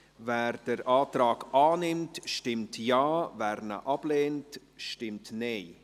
Wer den Antrag annimmt, stimmt Ja, wer diesen ablehnt, stimmt Nein.